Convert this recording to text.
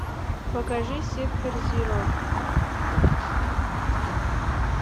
покажи сектор зеро